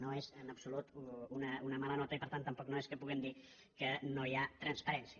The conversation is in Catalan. no és en absolut una mala nota i per tant tampoc no és que puguem dir que no hi ha transparència